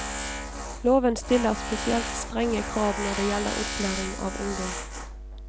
Loven stiller spesielt strenge krav når det gjelder opplæring av ungdom.